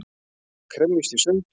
Kremjist í sundur.